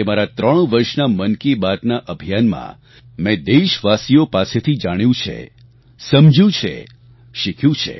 એ મારા ત્રણ વર્ષના મન કી બાતના અભિયાનમાં મેં દેશવાસીઓ પાસેથી જાણ્યું છે સમજ્યું છે શીખ્યું છે